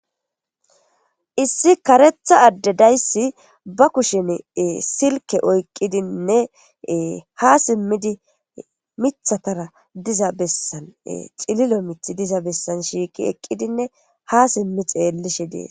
Issi karetha addedayssi ba kushen silke oyqqidinne ha simmidi mithatara diza bessan xililo mith diza bessan shiiqi eqqidinne ha simmi xeellishe dees